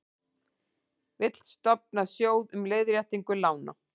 Vill stofna sjóð um leiðréttingu lána